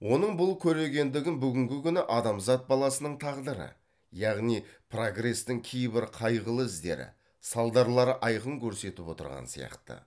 оның бұл көрегендігін бүгінгі күні адамзат баласының тағдыры яғни прогрестің кейбір қайғылы іздері салдарлары айқын көрсетіп отырған сияқты